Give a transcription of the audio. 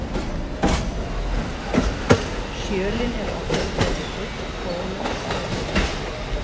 Sjölin eru oftast gerð úr ull, bómull eða silki.